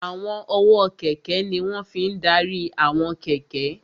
Àwọn ọwọ́ kẹ̀kẹ́ ní wọ́n fi n ṣe ìdarí àwọn kẹ̀kẹ́